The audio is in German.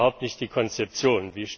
Das ist überhaupt nicht die Konzeption.